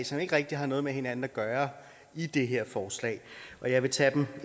som ikke rigtig har noget med hinanden at gøre i det her forslag og jeg vil tage dem